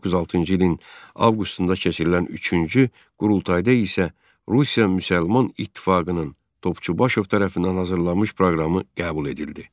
1906-cı ilin avqustunda keçirilən üçüncü qurultayda isə Rusiya müsəlman İttifaqının Topçubaşov tərəfindən hazırlanmış proqramı qəbul edildi.